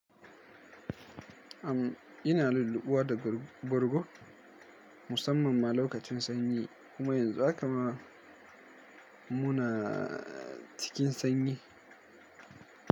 Am ina luluɓuwa da bargo musamman ma lokacin sanyi. Kuma yanzu haka ma, muna cikin sanyi.